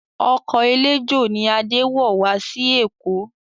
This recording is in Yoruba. Ọkọ̀ eléjò ni Adé wọ̀ wá sí Èkó